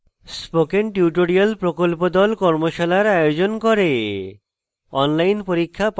spoken tutorial প্রকল্প the কর্মশালার আয়োজন করে